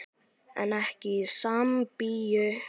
En ekki í Sambíu.